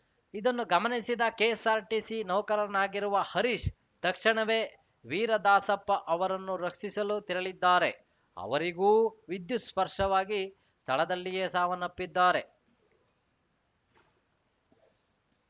ಇದನ್ನು ಗಮನಿಸಿದ ಕೆಎಸ್‌ಆರ್‌ಟಿಸಿ ನೌಕರನಾಗಿರುವ ಹರೀಶ್‌ ತಕ್ಷಣವೇ ವೀರದಾಸಪ್ಪ ಅವರನ್ನು ರಕ್ಷಿಸಲು ತೆರಳಿದ್ದಾರೆ ಅವರಿಗೂ ವಿದ್ಯುತ್‌ ಸ್ಪರ್ಶವಾಗಿ ಸ್ಥಳದಲ್ಲಿಯೇ ಸಾವನ್ನಪ್ಪಿದ್ದಾರೆ